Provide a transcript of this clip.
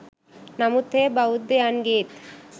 නමුත් එය බෞද්ධයන්ගේත්